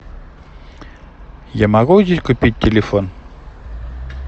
я могу здесь купить телефон